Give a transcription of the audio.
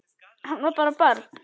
Hann var bara barn.